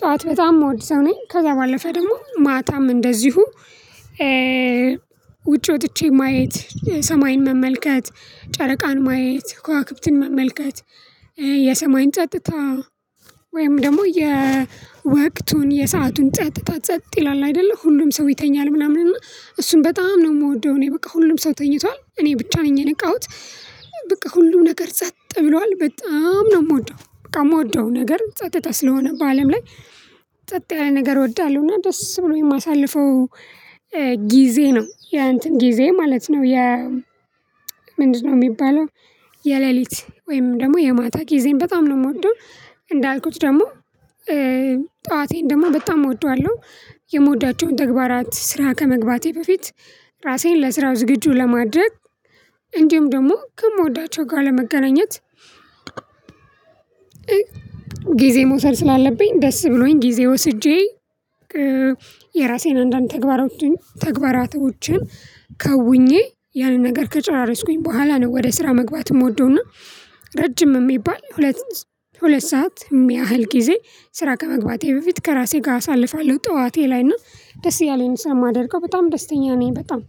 ጠዋት በጣም ምወድ ሰው ነኝ ከዛ ባለፈ ደግሞ ማታም እንደዚሁ። ውጪ ወጥቼ ማየት ሰማይን መመልከት ጨረቃን ማየት ከዋክብትን መመልከት የሰማይን ጸጥታ ወይም ደግሞ የወቅቱን የሰአቱን ጸጥታ ጸጥ ይላል አይደለ ሁሉም ሰው ይተኛል ምናምን እና እሱን በጣም ነው የምወደው። እኔ በቃ ሁሉም ሰው ተኝቷል እኔ ብቻ ነኝ የነቃውት። በቃ ሁሉም ነገር ጸጥ ብሏል በጣም ነው የምወደው። በጣም የምወደው ነገር ጸጥታ ስለሆነ በአለም ላይ ጸጥ ያለ ነገር እወዳለሁና ደስ ብሎኝ የማሳልፈው። ጊዜ ነው ያ እንትን ጊዜ ማለት ነው የ። ምንድነው የሚባለው? የሌሊት ወይም ደግሞ የማታ ጊዜን በጣም ነው የምወደው። እንዳልኩት ደግሞ ጠዋቴን ደግሞ በጣም እወደዋለሁ የምወዳቸውን ተግባራት ስራ ከመግባቴ በፊት ራሴን ለስራው ዝግጁ ለማድረግ እንዲሁም ደግሞ ከምወዳቸው ጋር ለመገናኘት። ጊዜ መውሰድ ስላለብኝ ደስ ብሎኝ ጊዜ ወስጄ። የራሴን አንዳንድ ተግባራቶችን ከውኜ ያንን ነገር ከጨራረስኩኝ በኋላ ነው ወደ ስራ መግባት የምወደውና። ረጅም የሚባል ሁለት ሁለት ሰዓት የሚያህል ጊዜ ስራ ከመግባቴ በፊት ከራሴ ጋር አሳልፋለሁ ጠዋቴ ላይ እና ደስ እያለኝ ስለማደርገው በጣም ደስተኛ ነኝ። በጣም